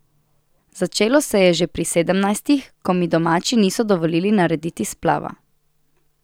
Začelo se je že pri sedemnajstih, ko mi domači niso dovolili narediti splava.